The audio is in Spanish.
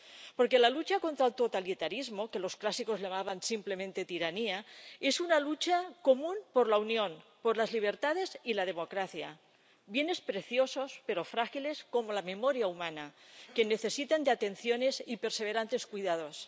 Porque la lucha contra el totalitarismo, que los clásicos llamaban simplemente tiranía, es una lucha común por la Unión, por las libertades y la democracia, bienes preciosos, pero frágiles, como la memoria humana, que necesitan de atenciones y perseverantes cuidados.